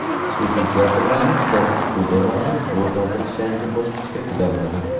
Xususiy teatrlarni, teatr-studiyalarni rivojlantirish yangi bosqichga ko‘tariladi.